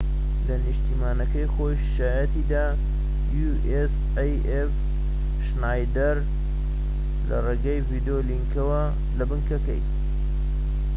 شنایدەر لە ڕێگەی ڤیدیۆ لینکەوە لە بنکەی usaf لە نیشتیمانەکەی خۆی شایەتی دا